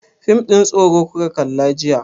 Fim ɗin tsoro kuka kalla jiya?